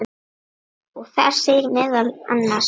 og þar segir meðal annars